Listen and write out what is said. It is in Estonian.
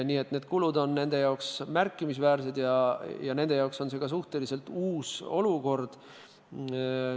Nii et kulud on pankade jaoks märkimisväärsed, lisaks on see nende jaoks suhteliselt uus olukord.